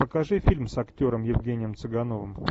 покажи фильм с актером евгением цыгановым